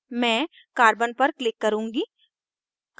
मैं carbon c पर click करुँगी